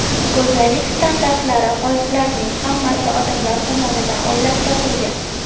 Go‘zallik standartlari, qoliplarining hammasi odamlar tomonidan o‘ylab topilgan.